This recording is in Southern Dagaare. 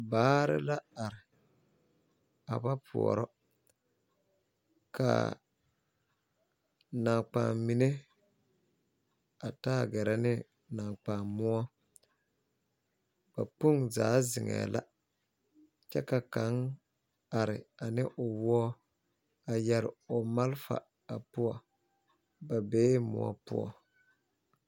Vaare la are a ba poorɔ ka naŋkpaammine avtaa gɛrɛ ne naŋkpaamoɔ ba kpoŋzaa zeŋɛɛ la kyɛ ka gaŋ are ane o woɔ a yɛre o malfa a poɔ bee moɔ poɔ.